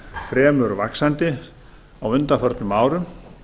fremur vaxandi á undanförnum árum